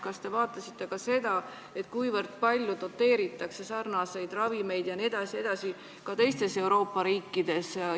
Kas te arutasite ka seda, kui palju doteeritakse ravimeid jne teistes Euroopa riikides?